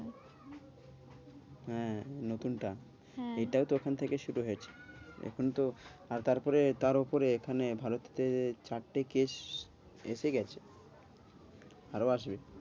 হ্যাঁ নতুন টা হ্যাঁ এইটাও তো ওখান থেকে শুরু হয়েছে এখন তো আহ তারপরে তও উপরে এখানে ভারতে চারটে case এসেগেছে। আরও আসবে।